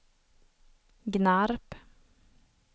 Gnarp